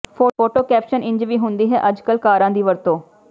photo caption ਇੰਝ ਵੀ ਹੁੰਦੀ ਹੈ ਅੱਜ ਕੱਲ ਕਾਰਾਂ ਦੀ ਵਰਤੋਂ